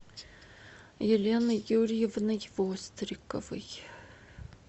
еленой юрьевной востриковой